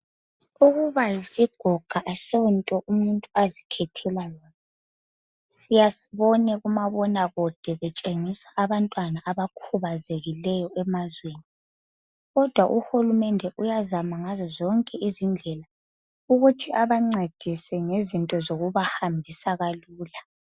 Ukuba yisigoga kakusonto umuntu azikhethela yona, Siyasibone kumabonakude, betshengisa abantwana abakhubazekileyo emazweni. Kodwa uhulumende uyazama ngazo zonke izindlela ukuthi abancedise ngezinto zokubahambisa kalula.